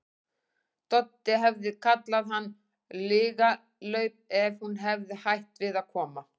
Doddi hefði kallað hann lygalaup ef hún hefði hætt við að koma.